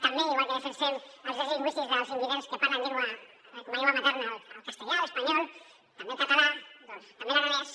també igual que defensem els drets lingüístics dels invidents que parlen com a llengua materna el castellà l’espanyol també el català també l’aranès